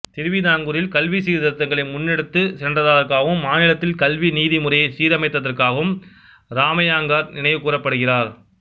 திருவிதாங்கூரில் கல்வி சீர்திருத்தங்களை முன்னெடுத்துச் சென்றதற்காகவும் மாநிலத்தில் கல்வி நீதி முறையை சீரமைத்ததற்காகவும் இராமையங்கார் நினைவுகூரப்படுகிறார்